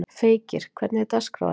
Feykir, hvernig er dagskráin?